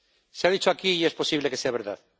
Se ha dicho aquí y es posible que sea verdad.